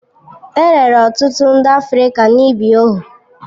E rere ọtụtụ ndị Afrịka n'ịbụ ohu.